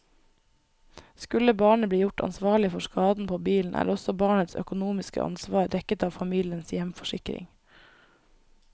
Skulle barnet bli gjort ansvarlig for skaden på bilen, er også barnets økonomiske ansvar dekket av familiens hjemforsikring.